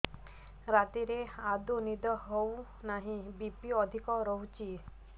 ରାତିରେ ଆଦୌ ନିଦ ହେଉ ନାହିଁ ବି.ପି ଅଧିକ ରହୁଛି